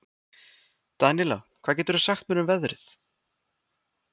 Daníela, hvað geturðu sagt mér um veðrið?